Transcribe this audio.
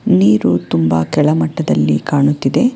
ನೀರು ತುಂಬಾ ಕೆಳ ಮಟ್ಟದಲ್ಲಿ ಕಾಣುತ್ತಿದೆ.